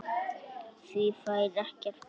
Því fær ekkert breytt.